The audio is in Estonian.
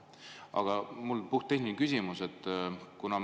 Aga mul on puhttehniline küsimus.